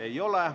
Ei ole.